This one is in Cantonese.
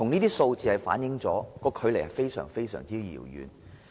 這數字反映我們現在距離目標仍極為遙遠。